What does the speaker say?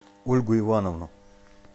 ольгу ивановну